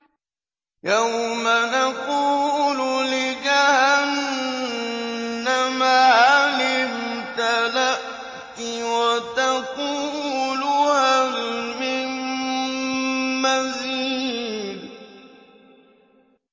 يَوْمَ نَقُولُ لِجَهَنَّمَ هَلِ امْتَلَأْتِ وَتَقُولُ هَلْ مِن مَّزِيدٍ